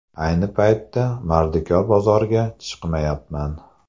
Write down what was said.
Ayni paytda mardikor bozorga chiqmayapman.